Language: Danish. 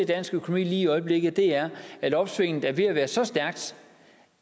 dansk økonomi i øjeblikket er at opsvinget er ved at være så stærkt